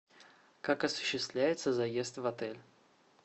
как осуществляется заезд в отель